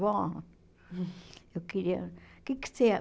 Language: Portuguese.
Vó, eu queria... O que que você